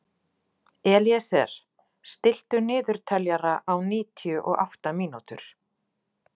Elíeser, stilltu niðurteljara á níutíu og átta mínútur.